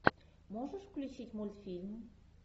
можешь включить мультфильм